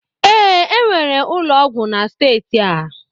Ee, enwere ụlọ ọgwụ na steeti a